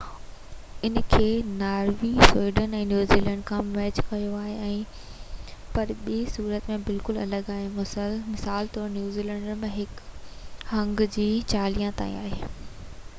ان کي Norway, Sweden ۽ New Zealand کان match ڪيو آهي، پر ٻي صورت ۾ بلڪل الڳ آهي مثال طور نيدرلينڊز ۾ اهو انگ هڪ کان چاليهہ تائين آهي